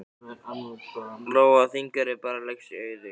Lóa: Þingeyri, bara leggjast í eyði?